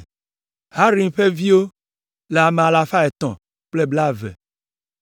Harim ƒe viwo le ame alafa etɔ̃ kple blaeve (320).